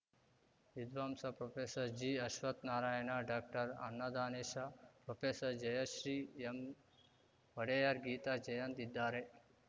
ವಿದ್ವಾಂಸ professor ಜಿಅಶ್ವತ್ಥ Narayana ಡಾಕ್ಟರ್ಅನ್ನದಾನೇಶ professor Jayashree ಎಂವಡೆಯರ್ Geetha Jayant ಇದ್ದಾರೆ